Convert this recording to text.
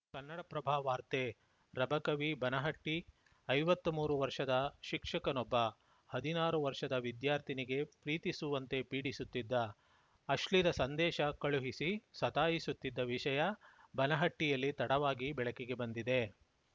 ಕನ್ನಡಪ್ರಭ ವಾರ್ತೆ ರಬಕವಿಬನಹಟ್ಟಿ ಐವತ್ತಮೂರು ವರ್ಷದ ಶಿಕ್ಷಕನೊಬ್ಬ ಹದಿನಾರು ವರ್ಷದ ವಿದ್ಯಾರ್ಥಿನಿಗೆ ಪ್ರೀತಿಸುವಂತೆ ಪೀಡಿಸುತ್ತಿದ್ದ ಅಶ್ಲೀಲ ಸಂದೇಶ ಕಳುಹಿಸಿ ಸತಾಯಿಸುತ್ತಿದ್ದ ವಿಷಯ ಬನಹಟ್ಟಿಯಲ್ಲಿ ತಡವಾಗಿ ಬೆಳಕಿಗೆ ಬಂದಿದೆ